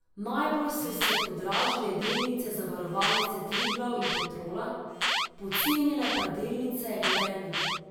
Najbolj so se podražile delnice Zavarovalnice Triglav in Petrola, pocenile pa delnice Gorenja.